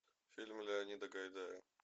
фильмы леонида гайдая